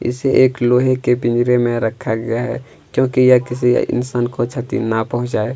इसे एक लोहै के पिंजरे में रखा गया है क्योंकि ये किसी इंसान को क्षती ना पहुंचाए--